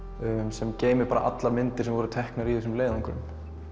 sem geymir allar myndir sem voru teknar í þessum leiðöngrum